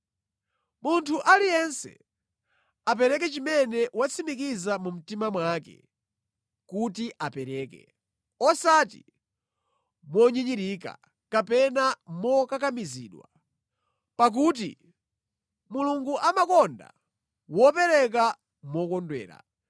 Munthu aliyense apereke chimene watsimikiza mu mtima mwake kuti apereka, osati monyinyirika kapena mokakamizidwa, pakuti Mulungu amakonda wopereka mokondwera.